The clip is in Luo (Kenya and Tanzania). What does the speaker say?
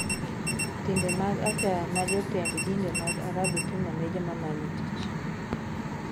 Timbe mag achaya ma jotend dinde mag Arabu timo ne joma manyo tich